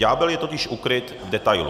Ďábel je totiž ukryt v detailu.